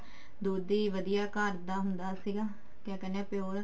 ਦੁੱਧ ਵੀ ਵਧੀਆ ਘਰ ਦਾ ਹੁੰਦਾ ਸੀਗਾ ਕਿਆ ਕਹਿਨੇ ਹਾਂ pure